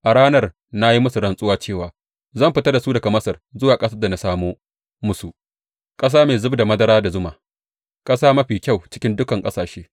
A ranar na yi musu rantsuwa cewa zan fitar da su daga Masar zuwa ƙasar da na samo musu, ƙasa mai zub da madara da zuma, ƙasa mafi kyau cikin dukan ƙasashe.